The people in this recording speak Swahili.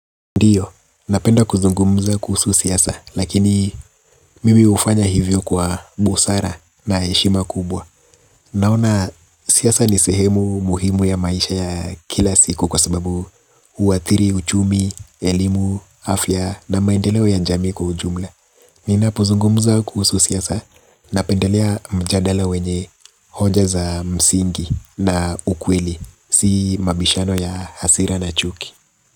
Ndiyo, napenda kuzungumza kuhusu siasa, lakini mimi hufanya hivyo kwa busara na heshima kubwa. Naona, siasa ni sehemu muhimu ya maisha ya kila siku kwa sababu huathiri uchumi, elimu, afya na maendeleo ya jami kwa ujumla. Nina pozungumza kuhusu siasa, napendalea mjadala wenye hoja za msingi na ukweli, si mabishano ya hasira na chuki.